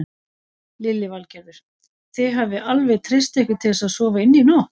Lillý Valgerður: Þið hafið alveg treyst ykkur til að sofa inni í nótt?